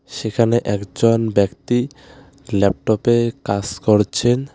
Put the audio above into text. সেখানে একজন ব্যক্তি ল্যাপটপে কাস করছেন।